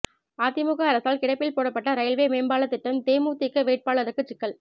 அதிமுக அரசால் கிடப்பில் போடப்பட்ட ரயில்வே மேம்பால திட்டம் தேமுதிக வேட்பாளருக்கு சிக்கல்